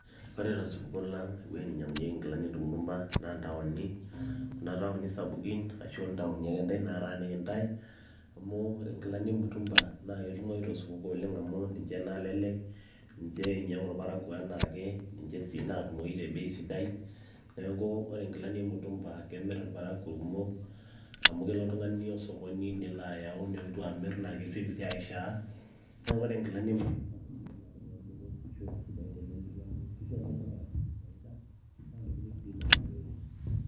ore tusupulo lang ewueji ninyiang'unyieki inkilani emutumba naa intaoni kuna taoni sapukin ashu intaoni akentae nataaniki intae amu ore inkilani emutumba naaketumoi tosupuko oleng emu ninche nalelek ninche einyiang'u irparakuo enaake ninche sii naatumoyu te bei sidai neeku ore inkilani emutumba kemirr irparakuo irkumok amu kelo oltung'ani osokoni nelo ayau nelotu amirr naa kesioki sii aishaa neeku ore inkilani emutumba kajo ake nanu peemiri ashu isidain tenemiri amu kisho iltung'anak asioki faida naa ntokitin sii naasishoreki.